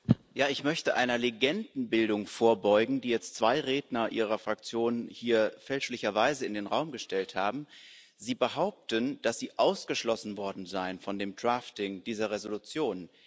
Ich möchte einer Legendenbildung vorbeugen, die jetzt zwei Redner Ihrer Fraktion hier fälschlicherweise in den Raum gestellt haben Sie behaupten, dass Sie ausgeschlossen worden seien von der Formulierung dieser Entschließung.